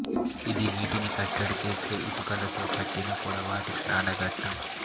ఇది నీటిని కట్టడి చేసే ఇటుకలతో కట్టిన పొడవాటి స్నానఘట్టం